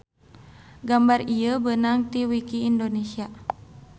Gambar ieu beunang ti wiki Indonesia